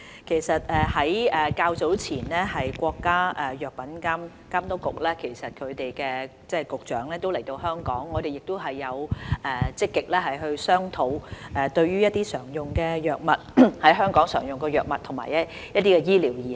其實較早前，國家藥品監督管理局局長來港時，我們曾積極與有關人員商討，如何逐步在大灣區使用香港常用的藥物及醫療儀器。